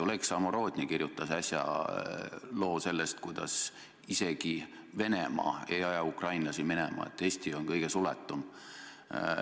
Oleg Samorodni kirjutas äsja loo sellest, et isegi Venemaa ei aja ukrainlasi minema, et Eesti on kõige suletum.